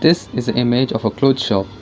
this is a image of a cloth shop.